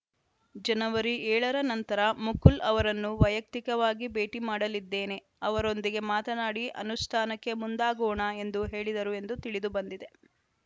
ಜನವರಿ ಏಳ ರ ನಂತರ ಮುಕುಲ್‌ ಅವರನ್ನು ವೈಯಕ್ತಿಕವಾಗಿ ಭೇಟಿ ಮಾಡಲಿದ್ದೇನೆ ಅವರೊಂದಿಗೆ ಮಾತನಾಡಿ ಅನುಷ್ಠಾನಕ್ಕೆ ಮುಂದಾಗೋಣ ಎಂದು ಹೇಳಿದರು ಎಂದು ತಿಳಿದು ಬಂದಿದೆ